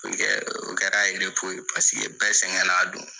o kɛra ye paseke bɛɛ sɛgɛn n'a don.